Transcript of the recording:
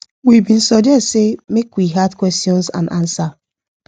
we bin suggest say make we add questions and answer